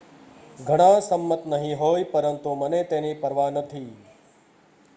"""ઘણા સંમત નહી હોય પરંતુ મને તેની પરવા નથી.